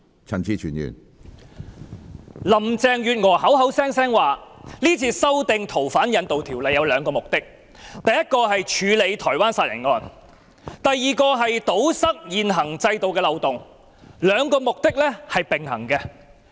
林鄭月娥口口聲聲表示是次修訂《逃犯條例》有兩個目的，第一，是處理台灣殺人案；第二，是堵塞現行制度的漏洞，兩個目的並行。